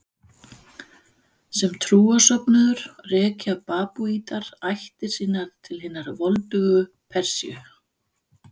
Sem trúarsöfnuður rekja babúítar ættir sínar til hinnar voldugu Persíu.